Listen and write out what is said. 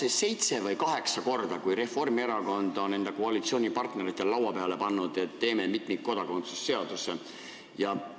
On see seitsmes või kaheksas kord, kui Reformierakond on koalitsioonipartnerite laua peale pannud ettepaneku, et teeme mitmikkodakondsuse seaduse?